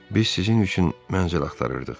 Biz sizin üçün mənzil axtarırdıq.